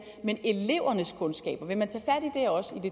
men elevernes kundskaber vil man